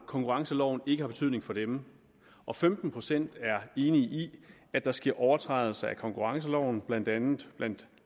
konkurrenceloven ikke har betydning for dem og femten procent er enig i at der sker overtrædelser af konkurrenceloven blandt andet blandt